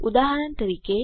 ઉદાહરણ તરીકે